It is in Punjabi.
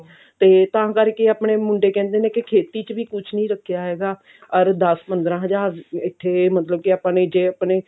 ਤੇ ਤਾਂ ਕਰਕੇ ਆਪਣੇ ਮੁੰਡੇ ਕਹਿੰਦੇ ਨੇ ਖੇਤੀ ਚ ਵੀ ਕੁਝ ਨੀ ਰੱਖਿਆ ਹੈਗਾ ਅਰ ਦਸ ਪੰਦਰਾਂ ਹਜ਼ਾਰ ਇੱਥੇ ਮਤਲਬ ਕਿ ਜੇ ਆਪਾਂ ਨੇ ਜੇ ਆਪਣੇ